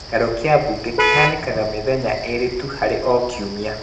Gĩikaro kĩa mbunge kĩhanĩkaga mĩthenya ĩrĩ tu harĩ o kiumia